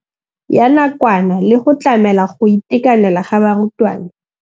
Ya nakwana le go tlamela go itekanela ga barutwana.